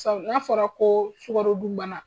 N'a fɔra ko sukaro dun bana